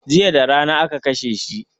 Jiya darana aka kashe shi